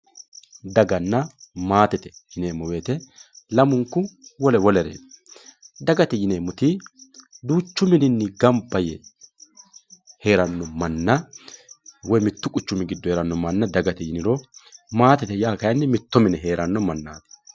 Daganna maatete yineemmo woyte lamunku wole wolere, dagate yineemmoti duuchu mininni gamba yee heerano manna woyi mitu quchumi giddo heerano manna dagate yiniro maatete yaa kayinni mitto mine heerano mannati.